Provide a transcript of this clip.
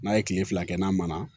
N'a ye kile fila kɛ n'a mɔn na